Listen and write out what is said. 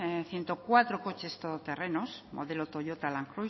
ciento cuatro coches todoterrenos modelo toyota land